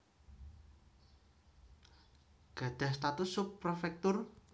Gadhah status sub prefektur